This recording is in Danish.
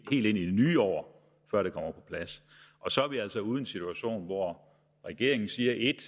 i det nye år før det kommer på plads og så er vi altså ude i en situation hvor regeringen siger ét